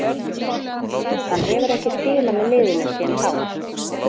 Hann hefur ekki spilað með liðinu síðan þá.